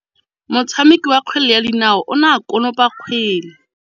Motshameki wa kgwele ya dinaô o ne a konopa kgwele.